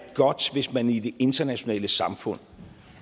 godt hvis man i det internationale samfund